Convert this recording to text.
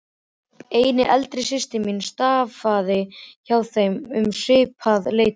Ein eldri systir mín starfaði hjá þeim um svipað leyti.